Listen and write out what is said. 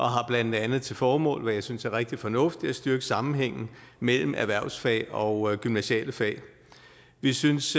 har blandt andet til formål hvad jeg synes er rigtig fornuftigt at styrke sammenhængen mellem erhvervsfag og gymnasiale fag vi synes